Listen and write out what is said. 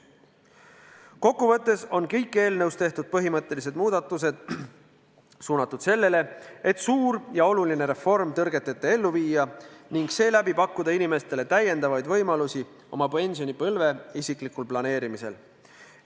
Kokku võttes on kõik eelnõus tehtud põhimõttelised muudatused suunatud sellele, et suur ja oluline reform tõrgeteta ellu viia ning sellega pakkuda inimestele täiendavaid võimalusi oma pensionipõlve isiklikul planeerimisel.